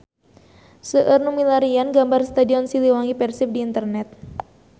Seueur nu milarian gambar Stadion Siliwangi Persib di internet